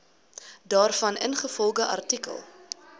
daarvan ingevolge artikel